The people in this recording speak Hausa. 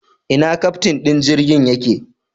Ina keftin din jirgin yake?